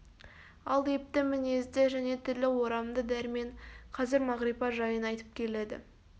ал епті мінезді және тілі орамды дәрмен қазір мағрипа жайын айтып келеді